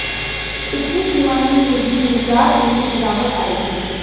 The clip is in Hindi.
पिछली तिमाही में भी निर्यात में गिरावट आई थी